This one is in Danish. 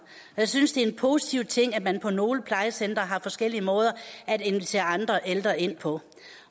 jeg synes det er en positiv ting at man på nogle plejecentre har forskellige måder at invitere andre ældre ind på